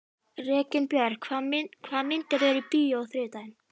Reginbjörg, hvaða myndir eru í bíó á þriðjudaginn?